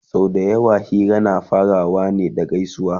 sau da yawa Hira na farawa ne da gaisuwa